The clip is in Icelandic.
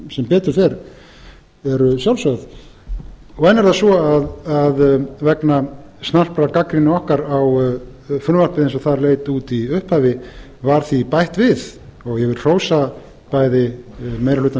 sem betur fer eru sjálfsögð enn er það svo að vegna snarprar gagnrýni okkar á frumvarpið eins og það leit út í upphafi var því bætt við ég vil hrósa bæði meiri hluta